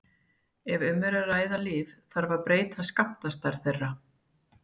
Ef um er að ræða lyf, þarf að breyta skammtastærð þeirra.